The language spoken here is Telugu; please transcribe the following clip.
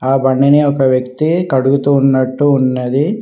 ఆ బండిని ఒక వ్యక్తి కడుగుతూ ఉన్నట్టు ఉన్నది.